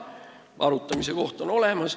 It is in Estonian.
See on ju arutamise koht.